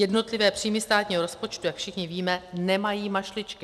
Jednotlivé příjmy státního rozpočtu, jak všichni víme, nemají mašličky.